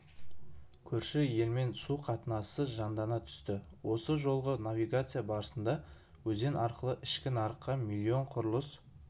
көрші елмен су қатынасы жандана түсті осы жолғы навигация барысында өзен арқылы ішкі нарыққа миллион құрылыс